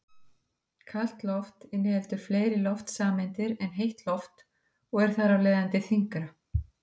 Kalt loft inniheldur fleiri loftsameindir en heitt loft og er þar af leiðandi þyngra.